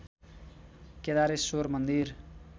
केदारेश्वर मन्दिर